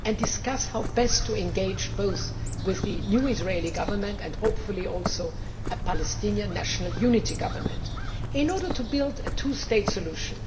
We should discuss how best to engage both the new Israeli Government and hopefully also a Palestinian national unity government in order to build a two state solution.